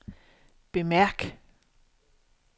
bemærk